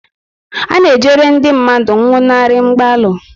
A na-ejere ndị mmadụ nwụnarịrị mgbalu